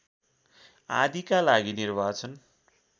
आदिका लागि निर्वाचन